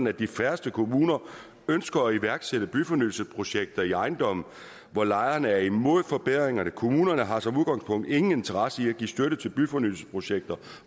er de færreste kommuner der ønsker at iværksætte byfornyelsesprojekter i ejendomme hvor lejerne er imod forbedringerne kommunerne har som udgangspunkt ingen interesse i at give støtte til byfornyelsesprojekter